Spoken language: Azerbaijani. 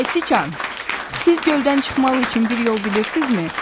Ay siçan, siz göldən çıxmaq üçün bir yol bilirsizmi?